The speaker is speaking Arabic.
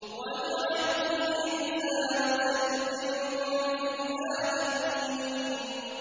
وَاجْعَل لِّي لِسَانَ صِدْقٍ فِي الْآخِرِينَ